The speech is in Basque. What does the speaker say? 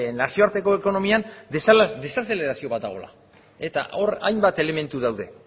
nazioarteko ekonomian desazelerazio bat dagoela eta hor hainbat elementu daude